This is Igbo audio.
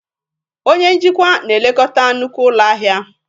Onye njikwa na-elekọta nnukwu ụlọ ahịa